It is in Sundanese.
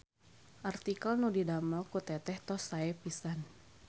Artikel nu didamel ku teteh tos sae pisan.